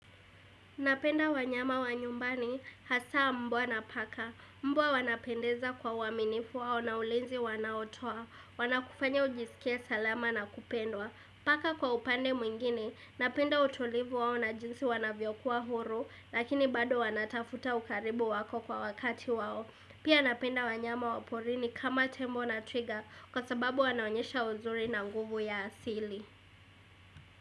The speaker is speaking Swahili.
Napenda wanyama wa nyumbani, hasa mbwa na paka. Mbwa wanapendeza kwa uaminifu wao na ulinzi wanaotoa. Wanakufanya ujisikie salama na kupendwa. Paka kwa upande mwingine, napenda utulivu wao na jinsi wanavyokuwa huru, lakini bado wanatafuta ukaribu wako kwa wakati wao. Pia napenda wanyama wa porini kama tembo na twiga, kwa sababu wanaonyesha uzuri na nguvu ya asili.